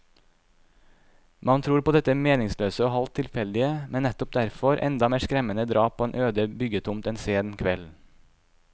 Man tror på dette meningsløse og halvt tilfeldige, men nettopp derfor enda mer skremmende drap på en øde byggetomt en sen kveld.